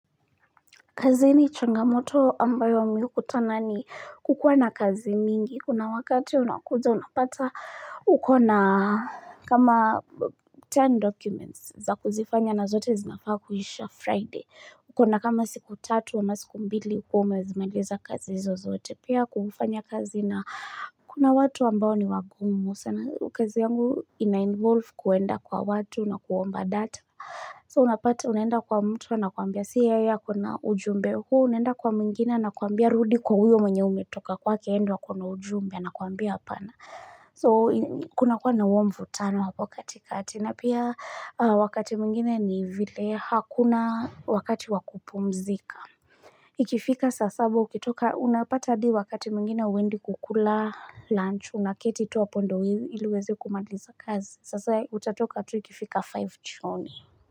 Kazi ni changamoto ambayo mi hukutana ni kukuwa na kazi mingi. Kuna wakati unakuja unapata uko na kama ten documents za kuzifanya na zote zinafaa kuisha Friday. Uko na kama siku tatu ama siku mbili ukuwe umwzimaliza kazi izo zote. Pia kufanya kazi na kuna watu ambao ni wagumu. Sana kazi yangu ina involve kuenda kwa watu na kuomba data. So unapata unaenda kwa mtu anakuambia si yeye ako na ujumbe huu, unaenda kwa mwengina anakuambia rudi kwa huyo mwenye umetoka kwake ye ndo ako na ujumbe anakuambia apana. So kunakuwa na huo mvutano hapo kati kati na pia wakati mwingine ni vile hakuna wakati wa kupumzika. Ikifika saa saba ukitoka unapata hadi wakati mwengine hauendi kukula lunch unaketi tu hapo ndo ili uweze kumaliza kazi. Sasa utatoka tu ikifika five jioni.